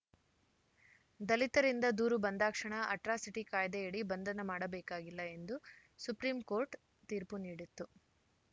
ದಲಿತರಿಂದ ದೂರು ಬಂದಾಕ್ಷಣ ಅಟ್ರಾಸಿಟಿ ಕಾಯ್ದೆಯಡಿ ಬಂಧನ ಮಾಡಬೇಕಾಗಿಲ್ಲ ಎಂದು ಸುಪ್ರೀಂಕೋರ್ಟ್‌ ತೀರ್ಪು ನೀಡಿತ್ತು